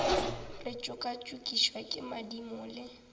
re tšokatšokišwa ke madimo le